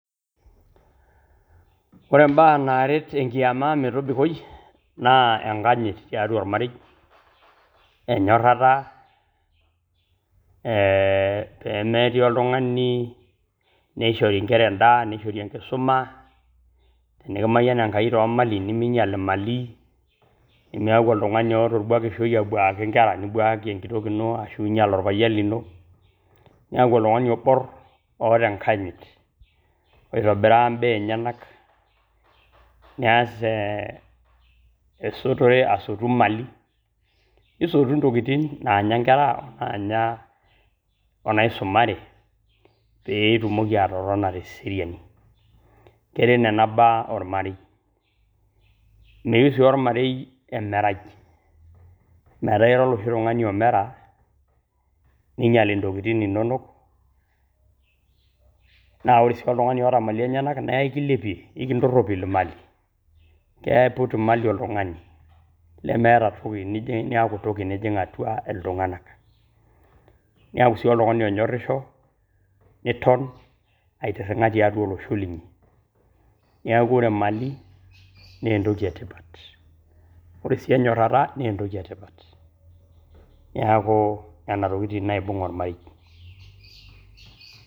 Ore imbaa naaret enkiema metobikoi naa enkanyit teatua ormarei, onyorata pemetii oltungani neishori inkera indaa neishori inkusuma ,tenikimayan enkai too lmailini, nimiinyal malii, nimieku oltungani oota oibwakushoi abuuaki inkera, nibuaaki enkitok ino ashu ninyal olpayen lino, niaku oltungani oboor oota enkanyit oitobiraa imbaa enyanak, niaas esotore asotu malii, nisotu ntokitin naanya inkera oo naisumare peetumoki atotona te seriani ,keret neniaa baa ormarei, meyeu sii ormarei imerai naa ira iye oshi tungani omera niinyal ntokitin inonok ,naa ore sii oltungani oot\ malii enyenak naa ekileipiw, ekintoropil maali ,keipot maali oltungani nemeeta ashu weji nijing' niaku toki nijing' atua iltunganak, nieku sii oltungani onyoricho niton aitiringa tiatua losho linyi, neaku ore emali naa entoki etipat, ore sii enyorata nee entoki etipat neaku nena tokitin naibung' ormarei .